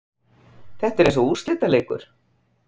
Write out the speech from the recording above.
Þetta er eins og úrslitaleikur.